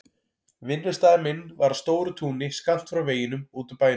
Vinnustaður minn var á stóru túni skammt frá veginum út úr bænum.